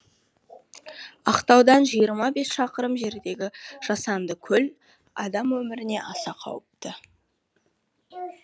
ақтаудан жиырма бес шақырым жердегі жасанды көл адам өміріне аса қауіпті